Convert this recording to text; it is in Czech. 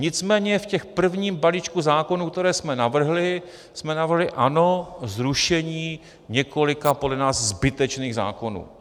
Nicméně v tom prvním balíčku zákonů, které jsme navrhli, jsme navrhli, ano, zrušení několika podle nás zbytečných zákonů.